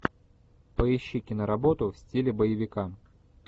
поищи киноработу в стиле боевика